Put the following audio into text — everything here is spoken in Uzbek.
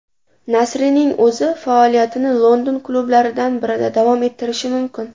Nasrining o‘zi faoliyatini London klublaridan birida davom ettirishi mumkin.